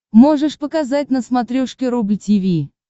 можешь показать на смотрешке рубль ти ви